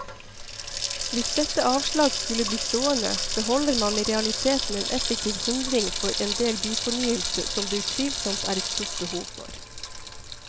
Hvis dette avslag skulle bli stående, beholder man i realiteten en effektiv hindring for endel byfornyelse som det utvilsomt er stort behov for.